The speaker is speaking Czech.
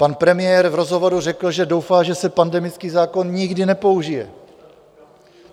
Pan premiér v rozhovoru řekl, že doufá, že se pandemický zákon nikdy nepoužije.